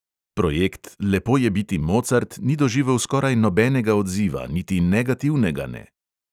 Projekt "lepo je biti mocart" ni doživel skoraj nobenega odziva, niti negativnega ne.